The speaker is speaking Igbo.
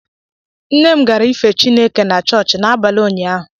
Nne m gara ịfe Chịneke na chọọchị n’abalị ụnyaahụ